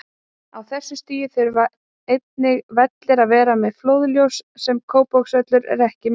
Á þessu stigi þurfa einnig vellir að vera með flóðljós, sem Kópavogsvöllur er ekki með.